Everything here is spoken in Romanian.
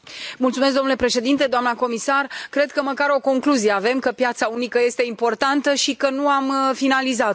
Domnule președinte, doamnă comisar, cred că măcar o concluzie avem că piața unică este importantă și că nu am finalizat o.